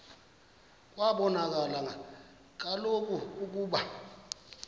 kwabonakala kaloku ukuba